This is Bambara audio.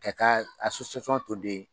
K'ɛ ka to den